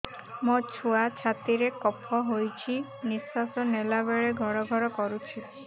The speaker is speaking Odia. ମୋ ଛୁଆ ଛାତି ରେ କଫ ହୋଇଛି ନିଶ୍ୱାସ ନେଲା ବେଳେ ଘଡ ଘଡ କରୁଛି